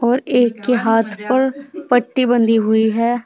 और एक के हाथ पर पट्टी बंधी हुई है।